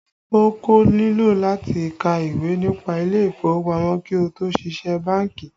O kò nílò láti ka ìwé nípa ilé ìfowópamọ́ kí ó tó ṣiṣẹ́ bánkì